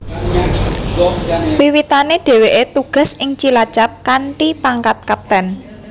Wiwitane dheweke tugas ing Cilacap kanthi pangkat Kapten